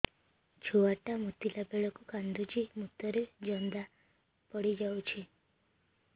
ଛୁଆ ଟା ମୁତିଲା ବେଳକୁ କାନ୍ଦୁଚି ମୁତ ରେ ଜନ୍ଦା ପଡ଼ି ଯାଉଛି